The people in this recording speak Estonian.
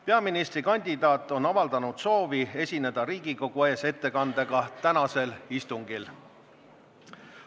Peaministrikandidaat on avaldanud soovi esineda Riigikogu ees ettekandega tänasel istungil.